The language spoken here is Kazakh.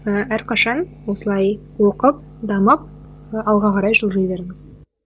ы әрқашан осылай оқып дамып ы алға қарай жылжи беріңіз